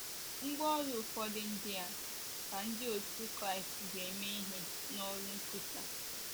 Ngwá ọrụ ụfọdụ ndị a ka ndị otú Kraịst ji eme ihe n’ọrụ nkwusa